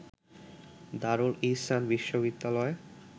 দারুল ইহসান বিশ্ববিদ্যালয়